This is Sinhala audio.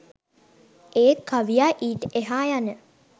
ඒත් කවියා ඊට එහා යන